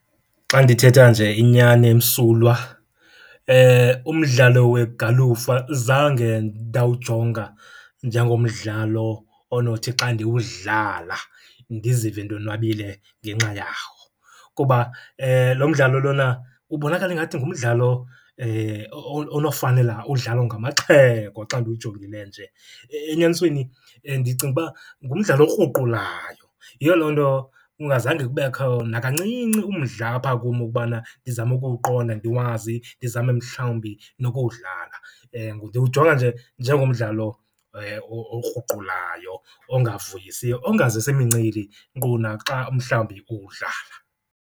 Xa ndithetha nje inyani emsulwa umdlalo wegalufa zange ndawujonga njengomdlalo onothi xa ndiwudlala ndizive ndonwabile ngenxa yawo. Kuba lo mdlalo lona ubonakala ingathi ngumdlalo onofanela udlalwa ngamaxhego xa ndiwujongile nje. Enyanisweni ndicinga uba ngumdlalo okruqulayo, yiyo loo nto kungazange kubekho nakancinci umdla apha kum ukubana ndizame ukuwuqonda ndiwazi, ndizame mhlawumbi nokuwudlala. Ndiwujonga nje njengomdlalo okruqulayo, ongavuyisiyo, ongazisi mincili nkqu naxa umhlawumbi uwudlala.